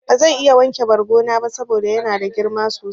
Bazan iya wanke bargo na ba saboda yana da girma sosai.